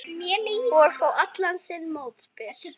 Og fá allan sinn mótbyr.